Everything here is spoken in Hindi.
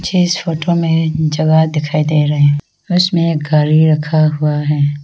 इस फोटो मे जगह दिखाई दे रहे हैं उसमें एक गाड़ी रखा हुआ है।